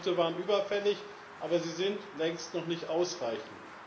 Diese Schritte waren überfällig, aber sie sind längst noch nicht ausreichend.